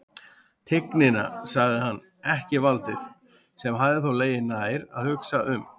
Tignina, sagði hann, ekki valdið, sem hefði þó legið nær að hugsa um.